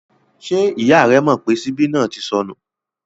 Ṣé ìyá rẹ mọ̀ pé ṣíbí náà ti sọnú?